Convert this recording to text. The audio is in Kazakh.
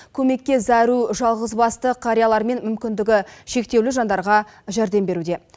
көмекке зәру жалғызбасты қариялар мен мүмкіндігі шектеулі жандарға жәрдем беруде